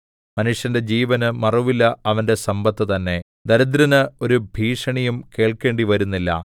മനുഷ്യന്റെ ജീവന് മറുവില അവന്റെ സമ്പത്ത് തന്നെ ദരിദ്രന് ഒരു ഭീഷണിയും കേൾക്കേണ്ടിവരുന്നില്ല